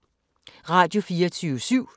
Radio24syv